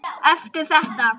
Eftir þetta.